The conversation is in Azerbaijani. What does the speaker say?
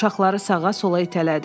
Uşaqları sağa-sola itələdi.